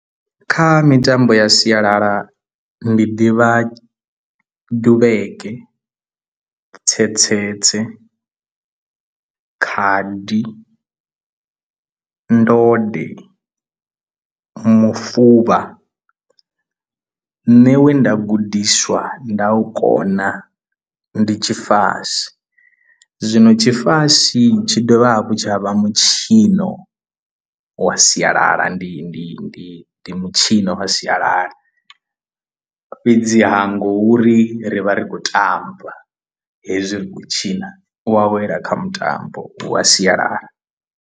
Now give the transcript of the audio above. Kha mitambo ya sialala ndi ḓivha duvheke, tsetsetse, khadi, ndode, mufuvha nṋe we nda gudiswa nda u kona ndi tshifasi zwino tshifasi tshi dovha hafhu tsha vha mutshino wa sialala ndi ndi ndi ndi mutshino wa sialala fhedziha ngo uri ri vha ri khou tamba hezwi ri kho tshaina u awela kha mutambo wa sialala.